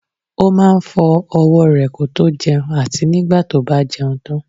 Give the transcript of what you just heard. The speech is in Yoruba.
Ó máa ń fọ owó re kótó jẹun àti nígbà tó bá jẹun tán